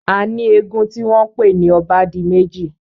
A ní eégún tí wọ́n pè ní obádimẹ́ji.